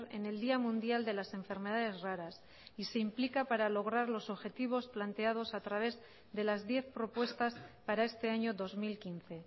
en el día mundial de las enfermedades raras y se implica para lograr los objetivos planteados a través de las diez propuestas para este año dos mil quince